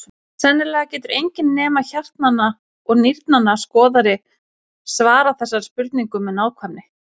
Sennilega getur enginn nema hjartnanna og nýrnanna skoðari svarað þessari spurningu með nákvæmni.